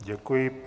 Děkuji.